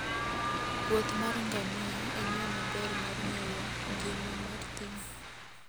Wuoth mar ngamia en yo maber mar ng'eyo ngima mar thim.